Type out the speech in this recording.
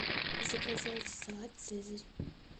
заказать салат цезарь